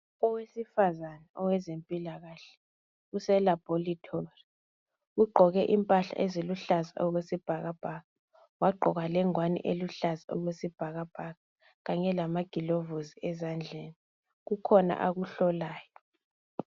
Owesifazana owezempilakahle uselabhoritori. Ugqoke impahla eziluhlaza okwesibhakabhaka, wagqoka lengwani eluhlaza okwesibhakabhaka kanye lamagilovusi ezandleni. Kukhona akuhlolayo.